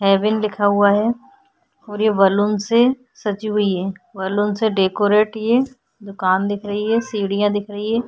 Haven लिखा हुआ है और ये बैलून से सजी हुई है बैलून से डेकोरेट ये दूकान दिख रही है सीढियाँ दिख रही है।